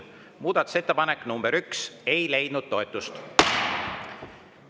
Muudatusettepanek nr 1 ei leidnud toetust.